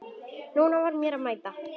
Nú var mér að mæta!